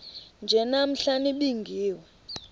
nje namhla nibingiwe